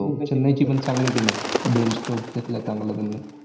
हो. चेन्नईची पण चांगली team आहे. बेन स्टोक घेतलाय चांगला त्यांना.